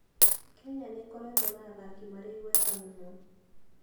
Kenya nĩ ĩkoretwo na athaki marĩ igweta mũno.